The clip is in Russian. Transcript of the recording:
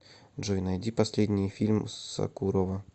джой найди последний фильм сокурова